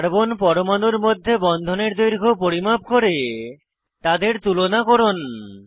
carbon পরমাণুর মধ্যে বন্ধনের দৈর্ঘ্য পরিমাপ করে তাদের তুলনা করুন